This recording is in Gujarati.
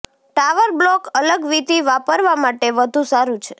ટાવર બ્લોક અલગ વિધિ વાપરવા માટે વધુ સારું છે